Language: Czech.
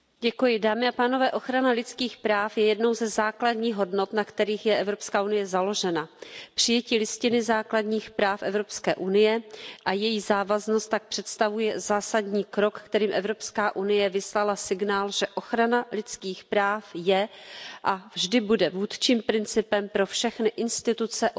Paní předsedající, ochrana lidských práv je jednou ze základních hodnot, na kterých je Evropská unie založena. Přijetí Listiny základních práv Evropské unie a její závaznost tak představuje zásadní krok, kterým Evropská unie vyslala signál, že ochrana lidských práv je a vždy bude vůdčím principem pro všechny instituce, orgány